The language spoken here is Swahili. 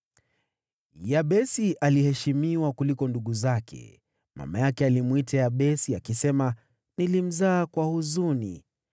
Yabesi aliheshimiwa kuliko ndugu zake. Mama yake alimwita Yabesi, akisema, “Nilimzaa kwa huzuni.”